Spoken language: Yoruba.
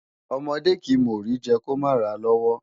Ọmọdé kìí mọ Ori jẹ kí ó mà ràa lọ́wọ́